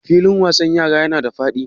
Filin wasan yaran yana da faɗi?